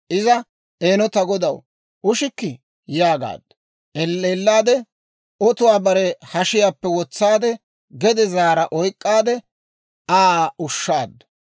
Iza, «Eeno ta godaw, ushikkii» yaagaaddu. Elleellaadde otuwaa bare hashiyaappe wotsaade, gede zaara oyk'k'aadde Aa ushshaaddu.